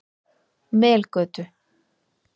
Melgötu